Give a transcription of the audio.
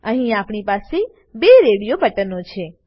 અહીં આપણી પાસે બે રેડીઓ બટનો છે